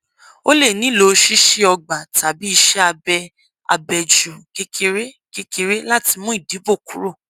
o lè nílò ṣíṣí ọgbà tàbí ìṣẹ abẹ abẹjú kékeré kékeré láti mú ìdìbò kúrò